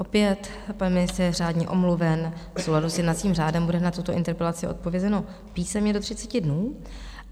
Opět, pan ministr je řádně omluven, v souladu s jednacím řádem bude na tuto interpelaci odpovězeno písemně do 30 dnů.